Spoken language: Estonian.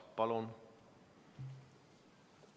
Palun!